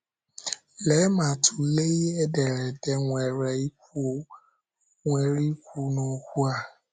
Lee ma tụlee ihe ederede nwere ikwu nwere ikwu n’okwu a?